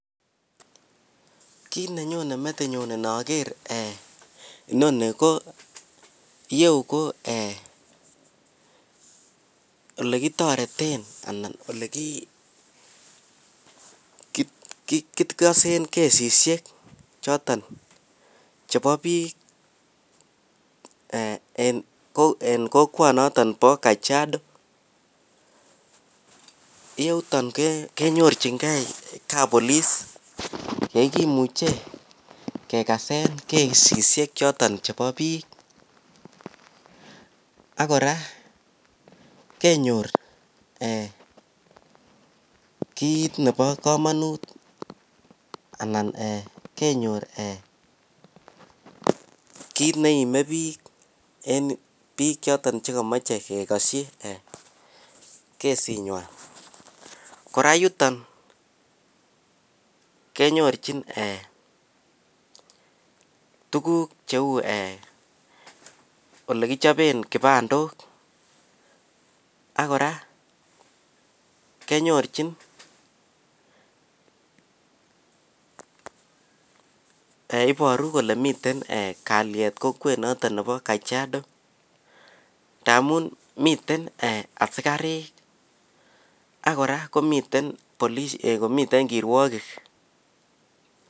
kiit nenyone metinyuun nogeer inoni ko iyeu ko um eeh elekitoreton anan elekigosen kesisyek choton chebo biik eeh en kokwoot noton bo Kajiado, yeuton kenyorchingee kappoliche yegimuche kegaseen kesisyeek choton chebo biik, ak kora kenyoor eeh kiit nebo komonut anan kenyoor um eeh um kiit neimebiik en biik chon chegomoche kegosyi kesiit nywaan, kora yuton kenyorchin tuguuk cheuu um eeh elekichoben kibandook ak koraa kenyorchin yheiboru kole miten kalyeet kokwet noton nebo kajiao ndamuun miten asikariik ak kora komiten kirwogik.